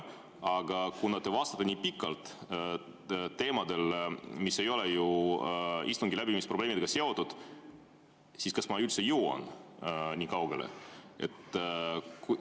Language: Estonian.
Aga kuna te vastate nii pikalt teemadel, mis ei ole istungi läbiviimise probleemidega seotud, siis kas ma üldse jõuan nii kaugele?